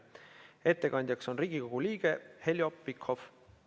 Ettekandja on Riigikogu liige Heljo Pikhof.